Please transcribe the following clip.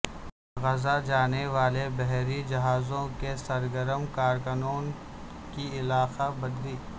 غزہ جانے والےبحری جہازوں کےسرگرم کارکنوں کی علاقہ بدری